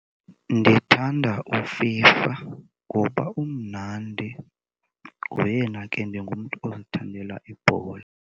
Ndithanda uFIFA ngoba umnandi, ngoyena ke, ndingumntu ozithandela ibhola.